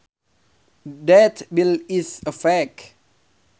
That bill is a fake